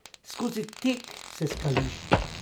Skozi tek se skališ.